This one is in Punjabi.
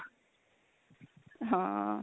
ਹਾਂ